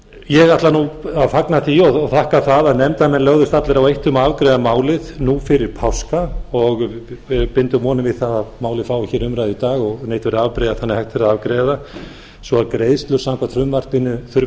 ég ætla að fagna því og þakka það að nefndarmenn lögðust allir á eitt um að afgreiða málið nú fyrir páska og við bindum vonir við að málið fái umræðu í dag og leitað verði afbrigða þannig að hægt verði að afgreiða það svo greiðslur samkvæmt frumvarpinu þurfi